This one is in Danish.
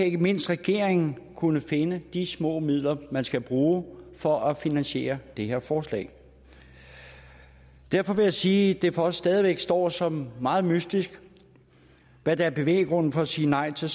ikke mindst regeringen kunne finde de små midler man skal bruge for at finansiere det her forslag derfor vil jeg sige at det for os stadig væk står som meget mystisk hvad der er bevæggrunden for at sige nej til